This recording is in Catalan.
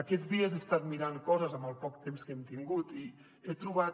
aquests dies he estat mirant coses amb el poc temps que hem tingut i he trobat